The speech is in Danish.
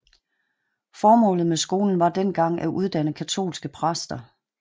Formålet med skolen var dengang at uddanne katolske præster